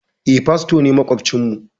Eh, fasto ne maƙwabcin mu.